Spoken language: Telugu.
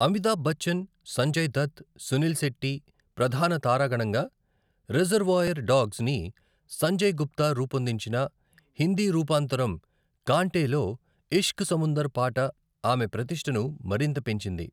అమితాబ్ బచ్చన్, సంజయ్ దత్, సునీల్ శెట్టి ప్రధాన తారాగణంగా, 'రిజర్వాయర్ డాగ్స్'ని సంజయ్ గుప్తా రూపొందించిన హిందీ రూపాంతరం కాంటే లో 'ఇష్క్ సముందర్' పాట ఆమె ప్రతిష్టను మరింత పెంచింది.